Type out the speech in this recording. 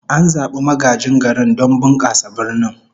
An zabi magajin garin don bunkasa birnin